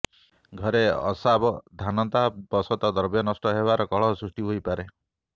ଘରେ ଅସାବଧାନତା ବଶତଃ ଦ୍ରବ୍ୟ ନଷ୍ଟ ହେବାରୁ କଳହ ସୃଷ୍ଟି ହୋଇପାରେ